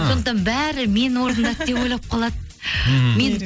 сондықтан бәрі мен орындады деп ойлап қалады мхм